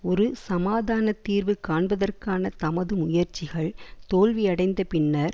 ஒரு சமாதான தீர்வு காண்பதற்கான தமது முயற்சிகள் தோல்வியடைந்த பின்னர்